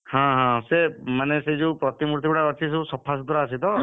ହଁ ସେ ମାନେ ସେଇ ଯୋଉ ପ୍ରତିମୂର୍ତ୍ତି ଗୁଡା ଅଛି ସବୁ ସଫା ସୁତୁରା ଅଛି ତ?